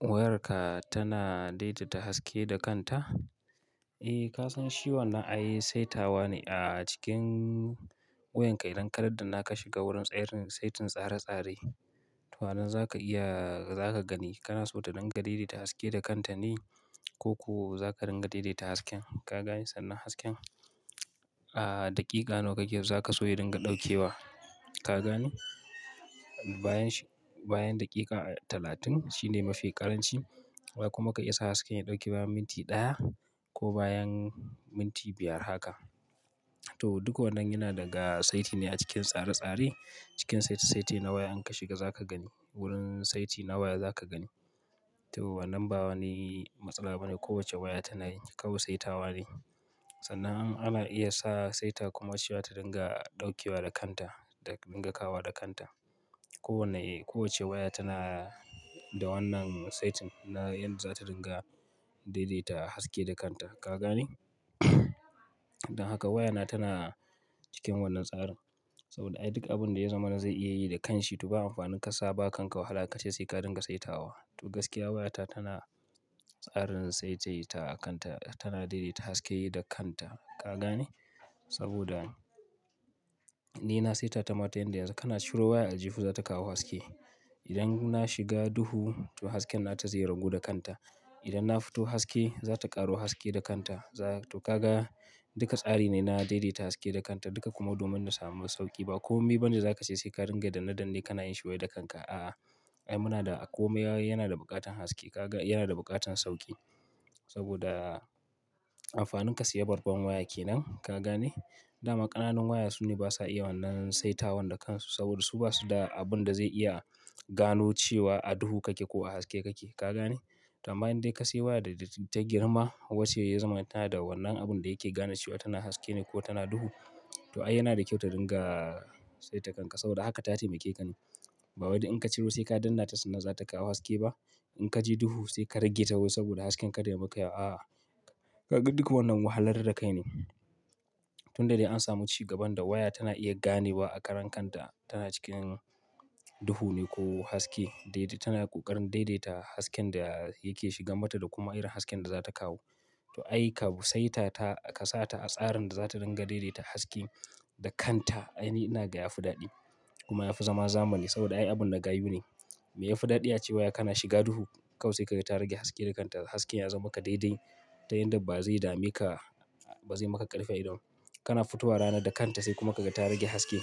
Wayarka tana daidaita haske da kanta? Eh, ka san shi wannan ai saitawa ne a cikin wayanka. Idan kadaddanna ka shiga wurin tsarin saitin tsare-tsare, to anan zaka iya, zaka gani. Kana so ta dinga daidaita haske da kanta ne ko ko zaka dinga daidaita hasken. Ka gane sannan hasken, a, daƙiƙa nawa kake so, zaka so ya dinga ɗauke wa. Ka gane? Bayan shi, bayan daƙiƙa talatin shine mafi ƙaranci. Kuma ka iya sa hasken ya ɗauke bayan minti ɗaya ko bayan minti biyar haka. To duk wannan yana daga saiti ne a cikin tsare-tsare. Cikin saiti saiti na waya in ka shiga zaka gani. Wurin saiti na waya zaka gani. To wannan ba wani matsala bane. Kowacce waya tana yi kawai saitawa ne. Sannan ana iya sa saita kuma cewa ta dinga ɗauke wa da kanta da dinga kawowanl da kanta. Kowanne, eh, kowacce waya tana da wannan saitin na inda za ta dinga daidaita haske da kanta. Ka gane? Dan haka wayana tana cikin wannan tsarin. Sabida ai duk abinda ya zamana zai iya yi da kanshi to ba amfanin ka sa ba kanka wahala kace sai ka dinga saitawa. To gaskiya wayata tana tsarin saisaita kanta. Tana daidaita haske yi da kanta. Ka gane? Saboda ni na saita ta ma ta inda yanzu-- kana ciro waya a aljihu za ta kawo haske. Idan na shiga duhu, to hasken nata zai ragu da kanta. Idan na fito haske, za ta ƙaro haske da kanta. To kaga, duka tsari ne na daidaita haske da kanta. Duka kuma domin na samu sauƙi ba komai bane zaka ce sai ka dinga danne dannen kana yin shi wai da kanka. Aa, ai muna da komai ai yana da buƙatan haske. Kaga yana da buƙatan sauƙi. Sabida amfanin ka saya babban waya kenan. Ka gane? Dama ƙananan waya su ne basa iya wannan saitawan da kansu saboda su basu da abin da zai iya gano cewa a duhu kake ko a haske kake. Ka gane? To amma dai in ka sayi waya da, ta girma wacce ya zamana tana da wannan abunda yake gane cewa tana haske ne ko tana duhu. To ai yana da kyau ta dinga saita kan ta sabida haka ta taimake ka ne. Ba wai duk in ka ciro sai ka danna ta sannan za ta kawo haske ba. In ka je duhu sai ka rage ta wai saboda hasken kada yayi maka yawa. A'a, kaga duk wannan wahalar da kai ne. Tunda dai an samu cigaban da waya tana iya ganewa a karan kanta tana cikin duhu ne ko haske. Daidai tana ƙoƙarin daidaita hasken da yake shiga mata da kuma irin hasken da za ta kawo. To ai kawo saitata, ka sa ta a tsarin da za ta dinga daidaita haske da kanta. Ai ni ina ga yafi daɗi kuma yafi zama zamani sabida ai abun na gayu ne. Mai yafi daɗi ace waya kana shiga duhu kawai sai kaga ta rage haske da kanta. Hasken ya zama maka daidai ta yanda ba zai dame ka, ba zai maka ƙarfi a ido ba kana fitowa rana da kanta sai kuma kaga ta rage haske.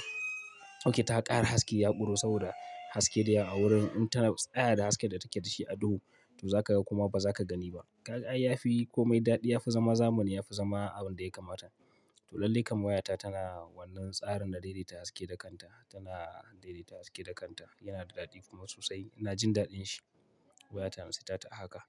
Oke ta ƙara haske ya ƙuro saboda haske da yawa a wurin in ta tsaya da hasken da take da shi a duhu. To zaka ga kuma ba zaka gani ba. Ka, ai yafi komai daɗi. Yafi zama zamani. Yafi zama abin lda yakamata. To lallai kam wayata tana wannan tsarin na daidaita haske da kanta. Tana daidaita haske da kanta. Yana da daɗi kuma sosai. Ina jin daɗin shi. Wayata in saitata a haka.